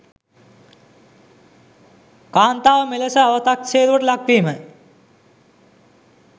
කාන්තාව මෙලෙස අවතක්සේරුවට ලක් වීම